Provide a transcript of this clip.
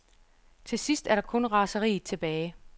Til sidst er der kun raseriet tilbage.